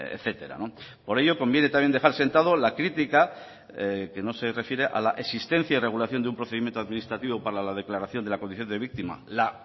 etcétera por ello conviene también dejar sentado la crítica que no se refiere a la existencia y regulación de un procedimiento administrativo para la declaración de la condición de víctima la